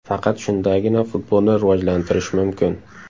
Faqat shundagina futbolni rivojlantirish mumkin.